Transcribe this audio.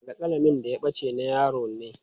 Alƙalamin da ya ɓace na yaron ne.